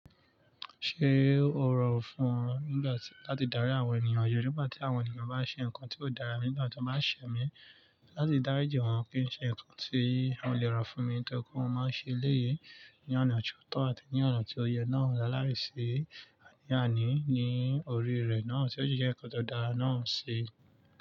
Ṣé o rọrùn fún ọ nígbà tí láti darí àwọn ènìyàn? Nígbà tí àwọn ènìyàn bá ṣe nǹkan tí ó dára nígbà tí wọ́n bá ṣẹ̀ mí láti dáríjì wọ́n kí wọ́n ṣe nǹkan tí wọn lè rà fún mi ni toripe mo maá ṣe léye ní ọ̀nà tiotọ̀ àti ní ọ̀nà tí ó yẹ náà lá lài ṣi àní àní ní orí rẹ̀ náà tí ó sì jẹ́ nǹkan tó dára náà ṣi.